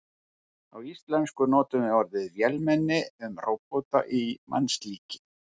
Á íslensku notum við orðið vélmenni um róbota í mannslíki.